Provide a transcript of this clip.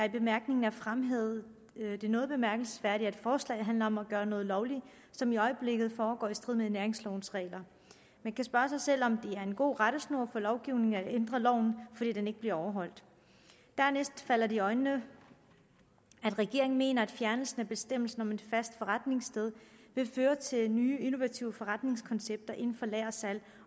i bemærkningerne er fremhævet det noget bemærkelsesværdige at forslaget handler om at gøre noget lovligt som i øjeblikket foregår i strid med næringslovens regler man kan spørge sig selv om det er en god rettesnor for lovgivningen at ændre loven fordi den ikke bliver overholdt dernæst falder det i øjnene at regeringen mener at en fjernelse af bestemmelsen om et fast forretningssted vil føre til nye innovative forretningskoncepter inden for lagersalg